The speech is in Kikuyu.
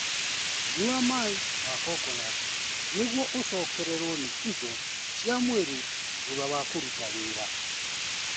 Nyua maĩ ma kokonati nĩguo ũcokererũo nĩ indo cia mwĩrĩ thutha wa kũruta wĩra.